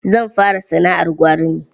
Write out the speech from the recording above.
Zan fara sana'ar gwari ne.